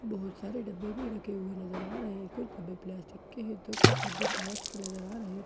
बहुत सारे डब्बे भी रखे हुए नजर आ रहे हैं कुछ डब्बे प्लास्टिक के हैं तो कुछ डब्बे घास के नजर आ रहे --